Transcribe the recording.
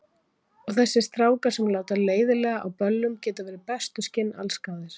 Og þessir strákar, sem láta leiðinlega á böllum, geta verið bestu skinn allsgáðir.